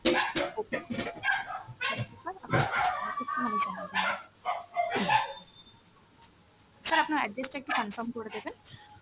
okay, thank you sir আপনার , sir আপনার address টা একটু confirm করে দেবেন।